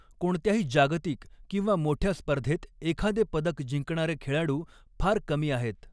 कोणत्याही जागतिक किंवा मोठय़ा स्पर्धेत एखादे पदक जिंकणारे खेळाडू फार कमी आहेत.